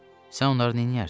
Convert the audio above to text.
Sən onları nəyərdin?